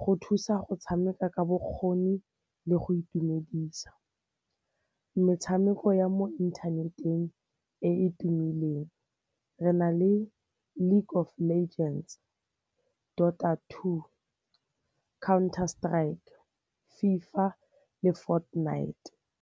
go thusa go tshameka ka bokgoni le go itumedisa. Metshameko ya mo inthaneteng e e tumileng re na le League of Legends, Daughter Two, Counter-Strike, FIFA le Fortnite.